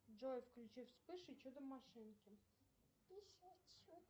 джой включи вспыш и чудо машинки